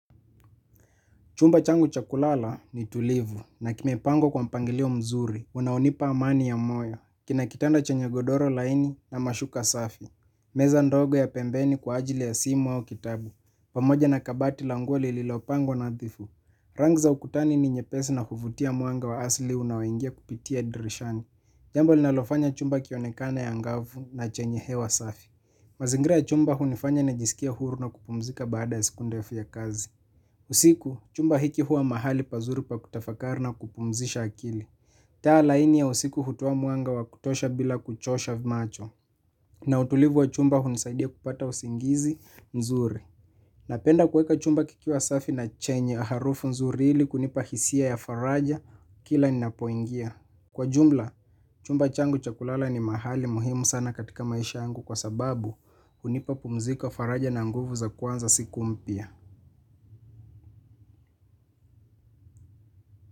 Chumba changu cha kulala ni tulivu na kimepangwa kwa mpangilio mzuri, unaonipa amani ya moyo. Kina kitanda chenye godoro laini na mashuka safi. Meza ndogo ya pembeni kwa ajili ya simu au kitabu. Pamoja na kabati la nguo lililopangwa nadhifu. Rangi za ukutani ni nyepesi na huvutia mwanga wa asili unaoingia kupitia dirishani. Jambo linalofanya chumba kionekane angavu na chenye hewa safi. Mazingira ya chumba hunifanya nijisikie huru na kupumzika baada ya siku ndefu ya kazi. Usiku, chumba hiki huwa mahali pazuri pa kutafakari na kupumzisha akili. Taa laini ya usiku hutoa mwanga wa kutosha bila kuchosha macho. Na utulivu wa chumba hunisaidia kupata usingizi mzuri. Napenda kuweka chumba kikiwa safi na chenye harufu nzuri ili kunipa hisia ya faraja kila ninapoingia. Kwa jumla, chumba changu cha kulala ni mahali muhimu sana katika maisha yangu kwa sababu, hunipa pumziko, faraja na nguvu za kuanza siku mpya.